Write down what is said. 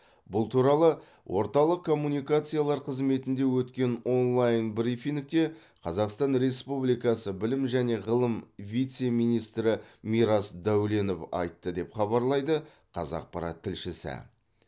бұл туралы орталық коммуникациялар қызметінде өткен онлайн брифингте қазақстан республикасы білім және ғылым вице министрі мирас дәуленов айтты деп хабарлайды қазақпарат тілшісі